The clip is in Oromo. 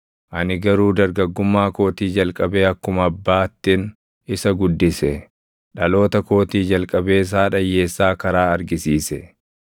ani garuu dargaggummaa kootii jalqabee akkuma abbaattin isa guddise; dhaloota kootii jalqabees haadha hiyyeessaa karaa argisiise.